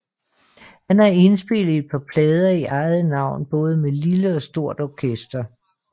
Han har indspillet et par plader i eget navn både med lille og stort orkester